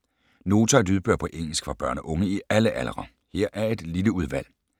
Nota har lydbøger på engelsk for børn og unge i alle aldre. Her er et lille udvalg.